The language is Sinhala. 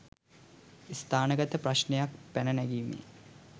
ස්ථානගත ප්‍රශ්නයක් පැන නැගීමේ